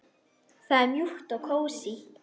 Það er mjúkt og kósí.